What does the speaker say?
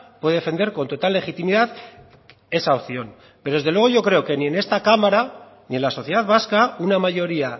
puede defender con total legitimidad esa opción pero desde luego yo creo que ni en esta cámara ni en la sociedad vasca una mayoría